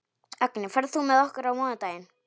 Agni, ferð þú með okkur á mánudaginn?